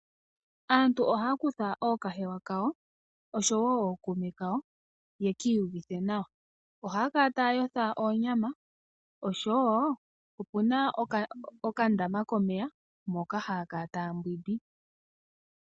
Aantu ohaya kutha ookahewa kawo oshowo ookume kawo yekiiyuvithe nawa. ohaya kala taya yotha oonyama oshowo opuna okandama komeya moka haya kala taya mbwidi.